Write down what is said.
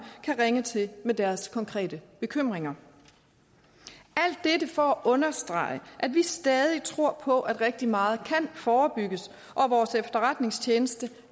kan ringe til med deres konkrete bekymringer alt dette for at understrege at vi stadig tror på at rigtig meget kan forebygges og vores efterretningstjeneste